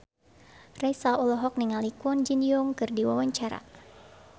Raisa olohok ningali Kwon Ji Yong keur diwawancara